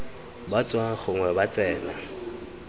ba tswang gongwe ba tsena